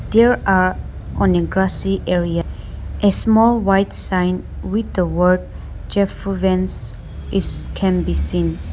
There are on a grassy area a small white sign with the word japfuvans is can be seen